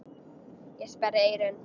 Ég sperri eyrun.